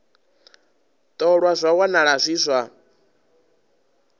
ṱolwa zwa wanala zwi zwa